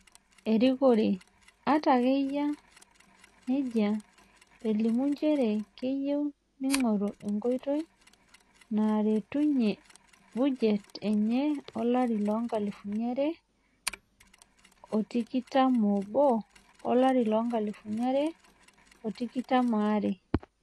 Erikore, ata ake eyia nejia, elimu njere keyieu neingoru nkoitoi naaretunye bujet enye olari loonkalifuni are otikitam oob - olarii loonkalifuni are o tikitam are.